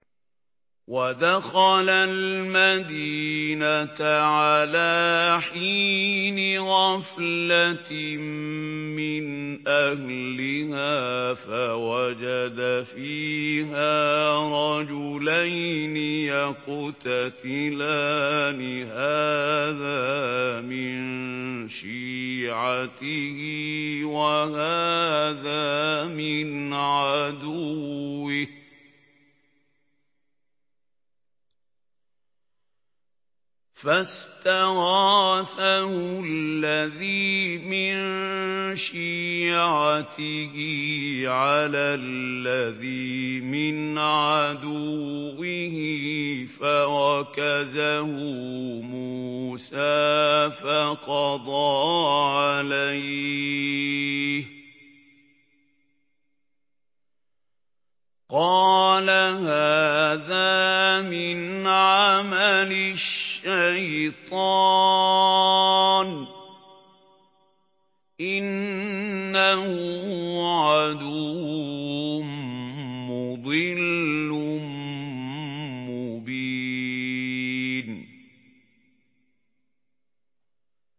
وَدَخَلَ الْمَدِينَةَ عَلَىٰ حِينِ غَفْلَةٍ مِّنْ أَهْلِهَا فَوَجَدَ فِيهَا رَجُلَيْنِ يَقْتَتِلَانِ هَٰذَا مِن شِيعَتِهِ وَهَٰذَا مِنْ عَدُوِّهِ ۖ فَاسْتَغَاثَهُ الَّذِي مِن شِيعَتِهِ عَلَى الَّذِي مِنْ عَدُوِّهِ فَوَكَزَهُ مُوسَىٰ فَقَضَىٰ عَلَيْهِ ۖ قَالَ هَٰذَا مِنْ عَمَلِ الشَّيْطَانِ ۖ إِنَّهُ عَدُوٌّ مُّضِلٌّ مُّبِينٌ